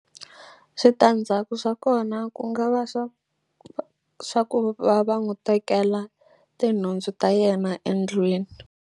Switandzhaku swa kona ku nga va swa swa ku va va n'wu tekela tinhundzu ta yena endlwini.